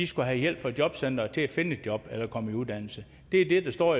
skal have hjælp fra jobcenteret til at finde et job eller komme i uddannelse det er det der står